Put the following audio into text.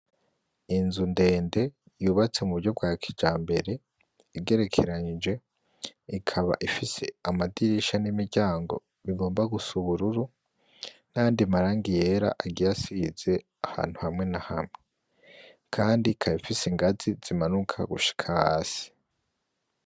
Inzu ndende, yubatse mu buryo bwa kijambere, igerekeranije, ikaba ifise amadirisha n'imiryango bigomba gusa ubururu, n'ayandi marangi yera agiye asize ahantu haamwe na hamwe. Kandi ikaba ifise ingazi zimanuka gushika hasi.